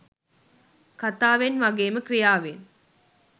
කතාවෙන් ‍වගේම ක්‍රියාවෙන්.